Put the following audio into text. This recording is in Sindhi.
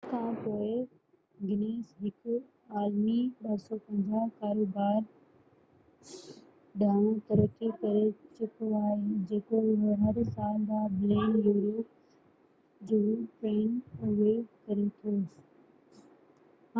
250 سال کان پوءِ، گينيس هڪ عالمي ڪاروبار ڏانهن ترقي ڪري چڪو آهي جيڪو هر سال 10 بلين يورو 14.7 بلين ڊالر جو ٽرن اوور ڪري ٿو